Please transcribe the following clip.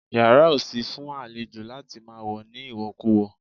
Yàrá ò sí fún àlejò láti máa wọ̀ ní ìwọ̀kuwọ̀